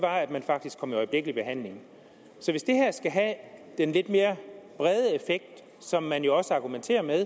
faktisk kom i øjeblikkelig behandling så hvis det her skal have den lidt mere brede effekt som man jo også argumenterer med